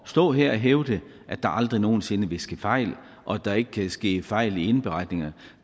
stå her og hævde at der aldrig nogen sinde vil ske fejl og at der ikke kan ske fejl i indberetninger